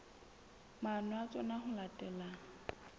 maano a tsona ho latela